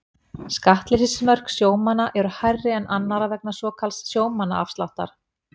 Skattleysismörk sjómanna eru hærri en annarra vegna svokallaðs sjómannaafsláttar.